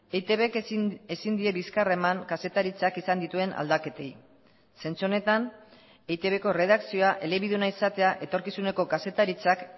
eitbk ezin die bizkarra eman kazetaritzak izan dituen aldaketei zentzu honetan eitbko erredakzioa elebiduna izatea etorkizuneko kazetaritzak